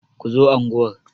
Ku zo unguwar!